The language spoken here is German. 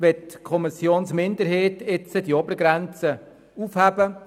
Die Kommissionsminderheit möchte diese Obergrenze aufheben.